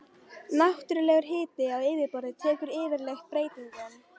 Náttúrlegur jarðhiti á yfirborði tekur yfirleitt breytingum.